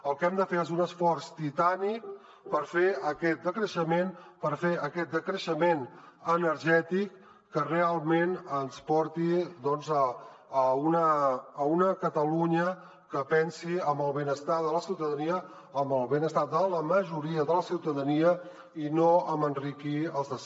el que hem de fer és un esforç titànic per fer aquest decreixement per fer aquest decreixement energètic que realment ens porti a una catalunya que pensi en el benestar de la ciutadania en el benestar de la majoria de la ciutadania i no en enriquir els de sempre